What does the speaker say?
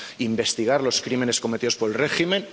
investigar los crímenes cometidos por el régimen